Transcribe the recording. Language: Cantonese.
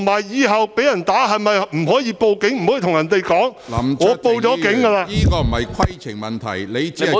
以後被人打，是否不可以報警，不可以告訴對方我已報警......